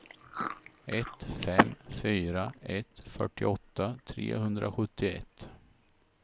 ett fem fyra ett fyrtioåtta trehundrasjuttioett